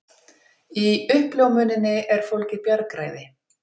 Í uppljómuninni er fólgið bjargræði.